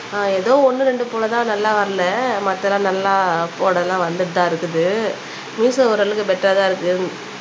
ஆஹ் எதோ ஒண்ணு ரெண்டு போல தான் நல்லா வரல மத்த எல்லாம் நல்லா வந்துட்டு தான் இருக்குது மீஷொ ஓரளவுக்கு பெட்டரா இருக்கு